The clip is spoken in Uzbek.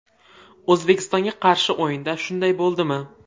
O‘zbekistonga qarshi o‘yinda shunday bo‘ldimi?